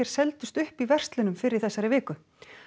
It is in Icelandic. seldust upp í verslunum fyrr í þessari viku